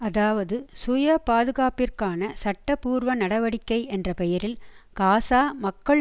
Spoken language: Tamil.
அதாவது சுயபாதுகாப்பிற்கான சட்டபூர்வ நடவடிக்கை என்ற பெயரில் காசா மக்கள்